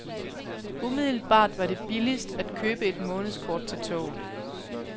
Umiddelbart var det billigst at købe et månedskort til toget.